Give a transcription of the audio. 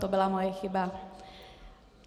To byla moje chyba.